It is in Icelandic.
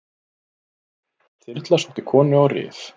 Þyrla sótti konu á Rif